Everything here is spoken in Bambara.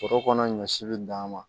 Foro kɔnɔ ɲɔ si bɛ dan ma